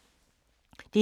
DR2